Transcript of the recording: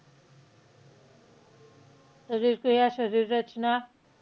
शरीर क्रिया, शरीर रचना.